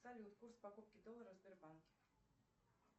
салют курс покупки доллара в сбербанке